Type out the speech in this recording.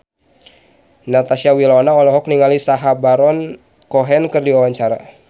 Natasha Wilona olohok ningali Sacha Baron Cohen keur diwawancara